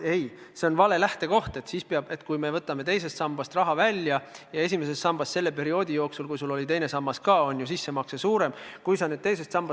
Ei, see on vale lähtekoht, et kui me võtame teisest sambast raha välja, siis keegi peaks midagi kompenseerima, kuna esimesse sambasse tehtud sissemakse oli sel perioodil, kui sul oli ka teine sammas, väiksem.